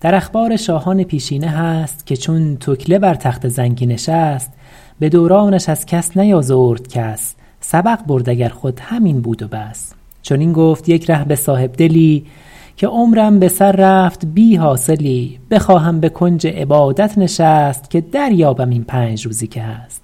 در اخبار شاهان پیشینه هست که چون تکله بر تخت زنگی نشست به دورانش از کس نیازرد کس سبق برد اگر خود همین بود و بس چنین گفت یک ره به صاحبدلی که عمرم به سر رفت بی حاصلی بخواهم به کنج عبادت نشست که دریابم این پنج روزی که هست